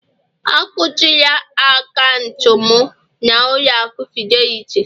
Akuchila akaụntụ'm na ụlọ aku Fidelity